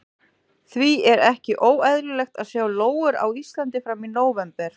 Því er ekki óeðlilegt að sjá lóur á Íslandi fram í nóvember.